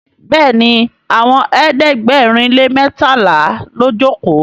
béèni Àwọn ẹ̀ẹ́dẹ̀gbẹ̀rin lè mẹtala ló joko.